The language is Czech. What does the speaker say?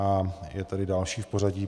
A je tady další v pořadí.